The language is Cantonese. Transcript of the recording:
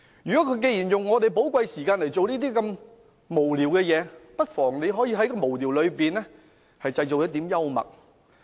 他們利用我們的寶貴時間來做這些無聊事，我們不妨在無聊中製造一點幽默。